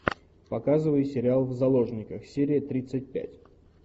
показывай сериал в заложниках серия тридцать пять